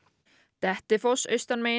Dettifoss austanmegin